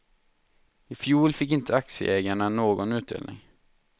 I fjol fick inte aktieägarna någon utdelning.